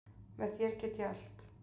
Með þér get ég allt.